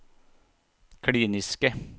kliniske